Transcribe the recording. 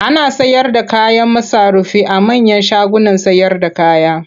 Ana sayarda kayan masarufi a manyan shagunan sayarda kaya.